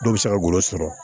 Dɔw bɛ se ka golo sɔrɔ